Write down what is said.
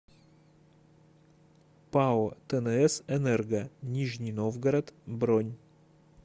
пао тнс энерго нижний новгород бронь